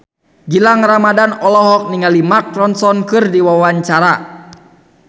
Gilang Ramadan olohok ningali Mark Ronson keur diwawancara